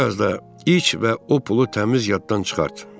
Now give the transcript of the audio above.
Bir az da iç və o pulu təmiz yaddan çıxart.